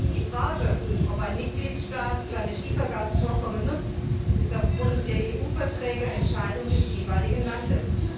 Die Frage, ob ein Mitgliedstaat seine Schiefergasvorkommen nutzt, ist aufgrund der EU Verträge Entscheidung des jeweiligen Landes.